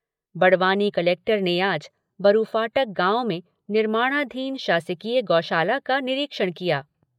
Barwani collector ने आज बरूफाटक गांव में निर्माणाधीन शासकीय गौशाला का निरीक्षण किया।